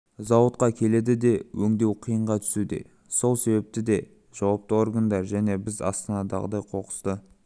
зауытқа келеді де өңдеу қиынға түсуде сол себепті де жауапты органдар және біз астанадағыдай қоқысты